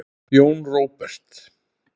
Jón Róbert.